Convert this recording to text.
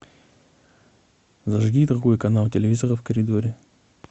зажги другой канал телевизора в коридоре